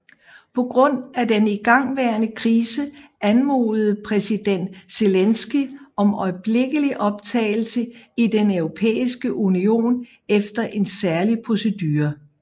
På grund af den igangværende krise anmodede præsident Zelenskyj om øjeblikkelig optagelse i Den Europæiske Union efter en særlig procedure